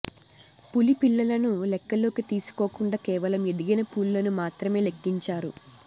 పులి పిల్లలను లెక్కలోకి తీసుకోకుండా కేవలం ఎదిగిన పులులను మాత్రమే లెక్కించారు